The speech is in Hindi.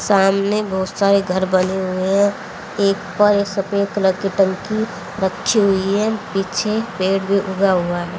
सामने बहोत सारे घर बने हुए है एक सफेद कलर की टंकी रखी हुई है पीछे पेड़ भी उगा हुआ है।